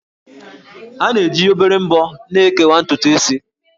A na-eji obere ḿbọ́ na-ekewa ntutu isi